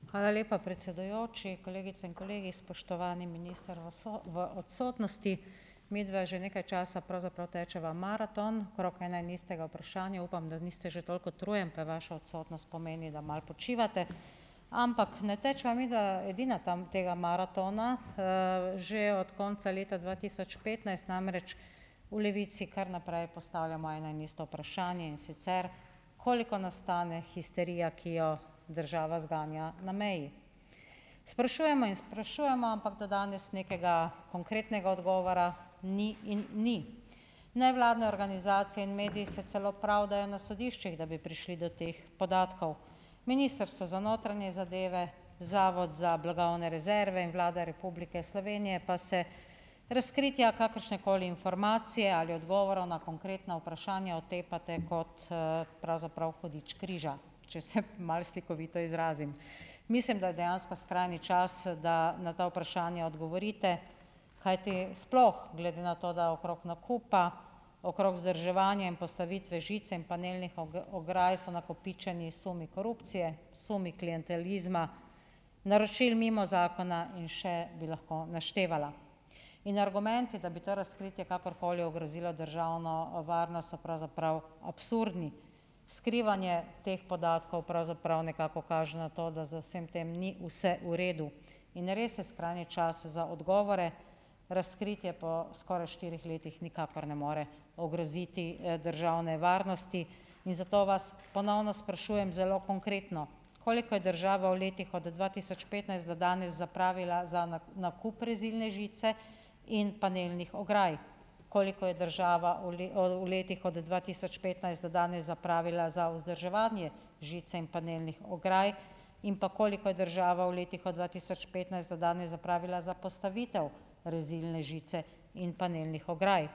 Hvala lepa, predsedujoči. Kolegice in kolegi! Spoštovani minister v v odsotnosti! Midva že nekaj časa pravzaprav tečeva maraton okrog ena in istega vprašanja. Upam, da niste že toliko utrujen, pa vaša odsotnost pomeni, da malo počivate. Ampak ne tečeva midva edina tam tega maratona. Že od konca leta dva tisoč petnajst namreč v Levici kar naprej postavljamo ena in ista vprašanja, in sicer koliko nas stane histerija, ki jo država zganja na meji. Sprašujemo in sprašujemo, ampak do danes nekega konkretnega odgovora ni in ni. Nevladne organizacije in mediji se celo pravdajo na sodiščih, da bi prišli do teh podatkov. Ministrstvo za notranje zadeve, Zavod za blagovne rezerve in Vlada Republike Slovenije pa se razkritja kakršnekoli informacije ali odgovorov na konkretna vprašanja otepate kot, pravzaprav hudič križa, če se malo slikovito izrazim. Mislim, da je dejansko skrajni čas, da na ta vprašanja odgovorite, kajti sploh glede na to, da okrog nakupa, okrog vzdrževanja in postavitve žice in panelnih ograj so nakopičeni sumi korupcije, sumi klientelizma, naročil mimo zakona in še bi lahko naštevala. In argumenti, da bi ta razkritja kakorkoli ogrozilo državno varnost, so pravzaprav absurdni. Skrivanje teh podatkov pravzaprav nekako kaže na to, da z vsem tem ni vse v redu, in res je skrajni čas za odgovore, razkritje po skoraj štirih letih nikakor ne more ogroziti, državne varnosti in zato vas ponovno sprašujem zelo konkretno. Koliko je država v letih od dva tisoč petnajst do danes zapravila za nakup rezilne žice in panelnih ograj? Koliko je država v v letih od dva tisoč petnajst do danes zapravila za vzdrževanje žice in panelnih ograj? In pa, koliko je država v letih od dva tisoč petnajst do danes zapravila za postavitev rezilne žice in panelnih ograj?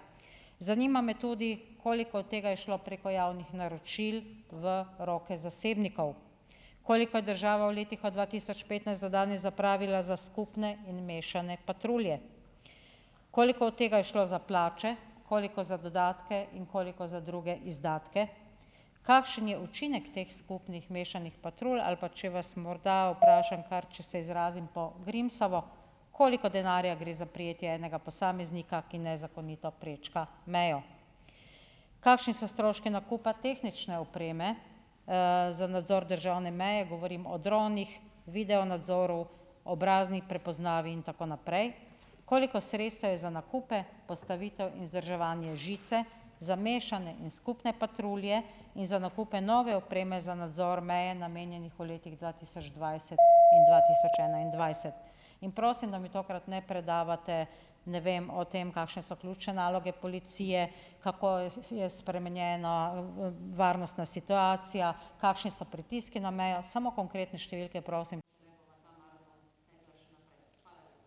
Zanima me tudi, koliko od tega je šlo preko javnih naročil v roke zasebnikov. Koliko je država v letih od dva tisoč petnajst do danes zapravila za skupne in mešane patrulje? Koliko od tega je šlo za plače, koliko za dodatke in koliko za druge izdatke? Kakšen je učinek teh skupnih mešanih patrulj ali pa, če vas morda vprašam kar, če se izrazim po Grimsovo, koliko denarja gre za prejetje enega posameznika, ki nezakonito prečka mejo? Kakšni so stroški nakupa tehnične opreme, za nadzor državne meje. Govorim o dronih, video nadzoru, obrazni prepoznavi in tako naprej, koliko sredstev je za nakupe, postavitev in vzdrževanje žice, za mešane in skupne patrulje in za nakupe nove opreme za nadzor meje namenjenih v letih dva tisoč dvajset in dva tisoč enaindvajset? In prosim, da mi tokrat ne predavate, ne vem, o tem, kakšne so ključne naloge policije, kako je je spremenjena, varnostna situacija, kakšni so pritiski na mejo. Samo konkretne številke, prosim.